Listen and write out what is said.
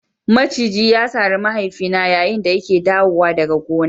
Maciji ya sare mahaifina yayin da yake dawowa daga gona.